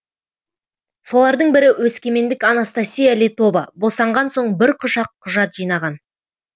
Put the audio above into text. солардың бірі өскемендік анастасия летова босанған соң бір құшақ құжат жинаған